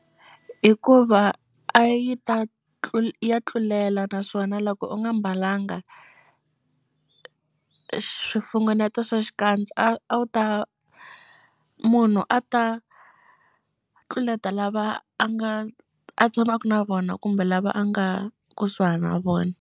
Hikuva a yi ta ya tlulela naswona loko u nga mbalanga swifungeneto swa xikandza a wu ta munhu a ta tluleta lava a nga a tshamaku na vona kumbe lava a nga kusuhani na vona.